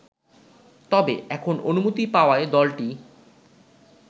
তবে, এখন অনুমতি পাওয়ায় দলটি